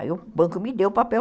Aí o banco me deu o papel.